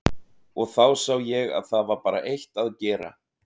Og þá sá ég að það var bara eitt að gera.